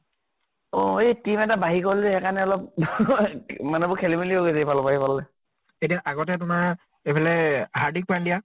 অ এ team এটা বাঢ়ি গল, সেইকাৰণে অলপ মানুহবোৰ খেলি মেলি হৈ গৈছে ইফালৰ পৰা সিফাললৈ। এতিয়া আগতে তোমাৰ এইফালে হাৰ্দিক পান্দিয়া